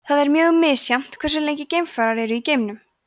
það er mjög misjafnt hversu lengi geimfarar eru í geimnum